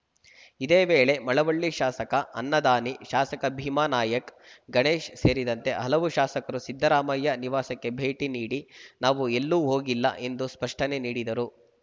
ಇದೇ ವೇಳೆ ಮಳವಳ್ಳಿ ಶಾಸಕ ಅನ್ನದಾನಿ ಶಾಸಕ ಭೀಮಾನಾಯಕ್‌ ಗಣೇಶ್‌ ಸೇರಿದಂತೆ ಹಲವು ಶಾಸಕರು ಸಿದ್ದರಾಮಯ್ಯ ನಿವಾಸಕ್ಕೆ ಭೇಟಿ ನೀಡಿ ನಾವು ಎಲ್ಲೂ ಹೋಗಿಲ್ಲ ಎಂದು ಸ್ಪಷ್ಟನೆ ನೀಡಿದರು